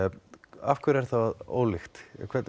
af hverju er það ólíkt